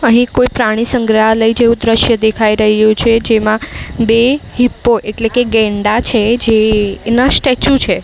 અહીં કોઈ પ્રાણી સંગ્રહાલય જેવું દ્રશ્ય દેખાઈ રહ્યું છે. જેમાં બે હિપ્પો એટલે કે ગેંડા છે જે એના સ્ટેચ્યુ છે.